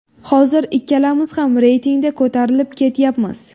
Hozir ikkalamiz ham reytingda ko‘tarilib ketyapmiz.